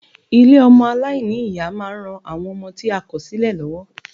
Ilé ọmọ aláìní-Ìyá ma ń ran àwọn ọmọ tí a kò sílẹ̀ lọ́wọ́.